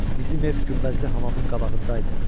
Bizim ev günbəzli hamamın qabağında idi.